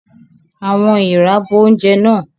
Àwọn èèrà bo oúnjẹ náà.